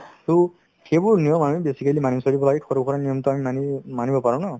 to সেইবোৰ নিয়ম আমি basically মানি চলিব লাগে সৰুসুৰা নিয়মতো আমি মানি‍~ মানিব পাৰো ন